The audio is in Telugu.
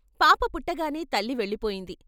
పాప పుట్టగానే తల్లి వెళ్ళిపోయింది.